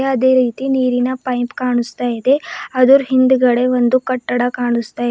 ಅದೇ ರೀತಿ ನೀರಿನ ಪೖಂಪ್ ಕಾಣಿಸ್ತಾ ಇದೆ ಅದುರ್ ಹಿಂದ್ಗಡೆ ಒಂದು ಕಟ್ಟಡ ಕಾಣಿಸ್ತಾ ಇ--